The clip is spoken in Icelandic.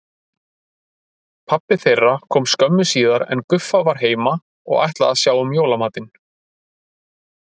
Pabbi þeirra kom skömmu síðar en Guffa var heima og ætlaði að sjá um jólamatinn.